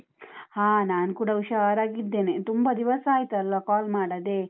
ಹಾ, ನಾನ್ ಕೂಡ ಹುಷಾರಾಗಿದ್ದೇನೆ, ತುಂಬ ದಿವಸ ಆಯ್ತಲ್ಲ call ಮಾಡದೇ?